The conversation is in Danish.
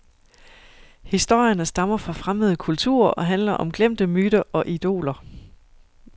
Historierne stammer fra fremmede kulturer og handler om glemte myter og idoler.